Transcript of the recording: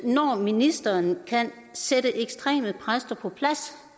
når ministeren kan sætte ekstreme præster på plads